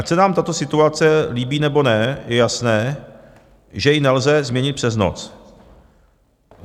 Ať se nám tato situace líbí, nebo ne, je jasné, že ji nelze změnit přes noc.